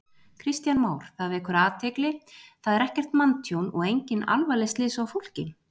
Kristján Már: Það vekur athygli, það er ekkert manntjón og engin alvarleg slys á fólki?